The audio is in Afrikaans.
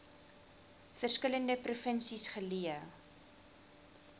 verskillende provinsies geleë